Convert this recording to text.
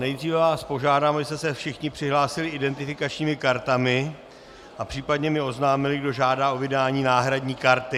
Nejdříve vás požádám, abyste se všichni přihlásili identifikačními kartami a případně mi oznámili, kdo žádá o vydání náhradní karty.